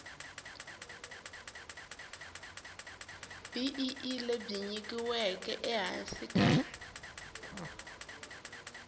bee lebyi nyikiweke ehansi ka